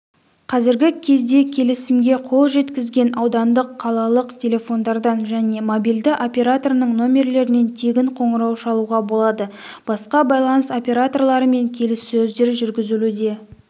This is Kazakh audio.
қазіргі кезде келісімге қол жеткізген аудандық қалалық телефондардан және мобильді операторының номерлерінен тегін қоңырау шалуға болады басқа байланыс операторларымен келіссөздер жүргізілуде